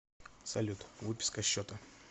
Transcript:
салют выписка счета